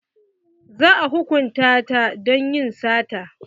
Za a hukunta ta don yin sata.